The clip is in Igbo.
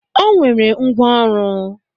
O nwere ngwá ọrụ.